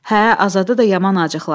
Hə, Azadə də yaman acıqlandı.